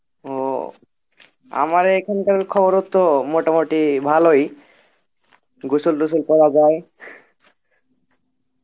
ও আমারও এখানকার খবর ও তো মোটামুটি ভালই গুসল টুসল করা যায়